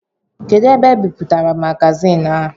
Kedụ ebe ebipụtara magazin a?